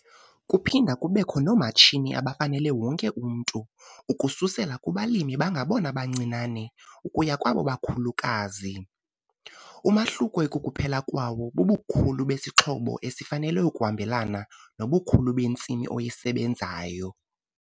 Kuphinda kubekho noomatshini abafanele wonke umntu - ukususela kubalimi abangabona bancinane ukuya kwabo bakhulukazi. Umahluko ekukuphela kwawo bubukhulu besixhobo esifanele ukuhambelana nobukhulu bentsimi oyisebenzayo.